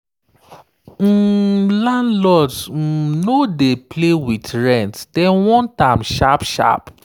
um landlords um no dey play with rent – dem want am sharp sharp.